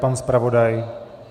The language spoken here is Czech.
Pan zpravodaj?